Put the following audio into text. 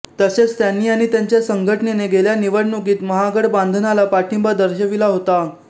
तसेच त्यांनी आणि त्यांच्या संघटनेने गेल्या निवडणुकीत महागडबांधनाला पाठिंबा दर्शविला होता